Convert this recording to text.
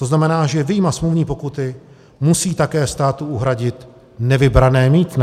To znamená, že vyjma smluvní pokuty musí také státu uhradit nevybrané mýtné.